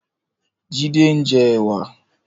Jide n jè èwà